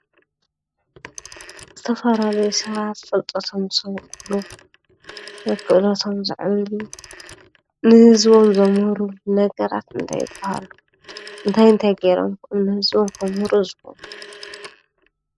ዝተፈላለዩ ሰባት ፍልጠቶም ዝሰርሑሉ ወይ ክእለቶም ዘዕብይሉ ንህዝቦም ዘምህሩሉ ነገራት እንታይ ይበሃል? ታይ ታይ ገይሮም እዮም ከ ንህዝቦም ከምህሩ ዝኽእሉ?